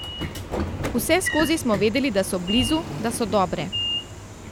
Vseskozi smo vedeli, da so blizu, da so dobre.